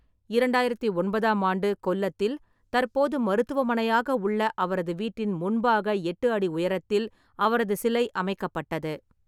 இரண்டாயிரத்து ஒன்பதாம் ஆண்டு கொல்லத்தில் தற்போது மருத்துவமனையாக உள்ள அவரது வீட்டின் முன்பாக எட்டு அடி உயரத்தில் அவரது சிலை அமைக்கப்பட்டது.